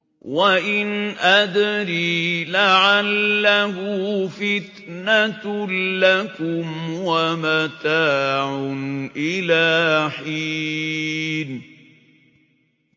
وَإِنْ أَدْرِي لَعَلَّهُ فِتْنَةٌ لَّكُمْ وَمَتَاعٌ إِلَىٰ حِينٍ